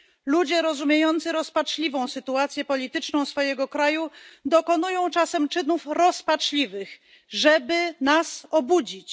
Ludzie rozumiejący rozpaczliwą sytuację polityczną swojego kraju dokonują czasem czynów rozpaczliwych, żeby nas obudzić.